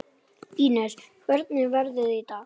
Ínes, hvernig er veðrið í dag?